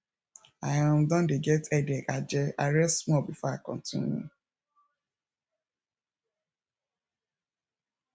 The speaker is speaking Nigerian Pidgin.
i um don dey get headache aje i rest small before i continue